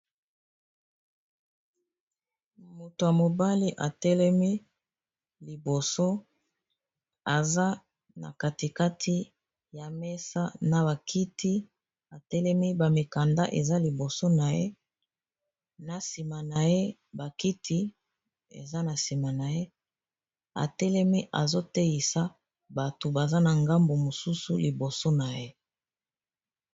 Moto ya mobali atelemi liboso aza na katikati ya mesa na bakiti atelemi ba mikanda eza liboso na ye, na nsima na ye bakiti eza na nsima na ye atelemi azoteisa bato baza na ngambu mosusu liboso na ye.